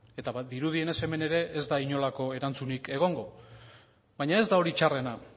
eta dirudienez hemen ere ez da inolako erantzunik egongo baina ez da hori txarrena